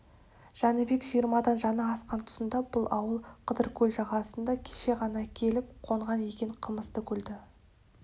жәнібек жиырмадан жаңа асқан тұсында бұл ауыл қыдыркөл жағасына кеше ғана келіп қонған екен қамысты көлді